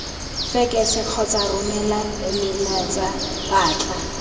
fekesa kgotsa romela emeilatsa batla